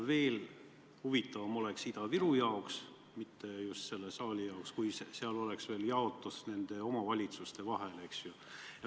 Veelgi huvitavam oleks Ida-Virumaa jaoks – mitte niivõrd selle saali jaoks – see, kui selles tabelis oleks näidatud ka raha jaotus eri omavalitsuste vahel.